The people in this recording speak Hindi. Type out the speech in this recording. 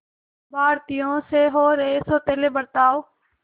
भारतीयों से हो रहे सौतेले बर्ताव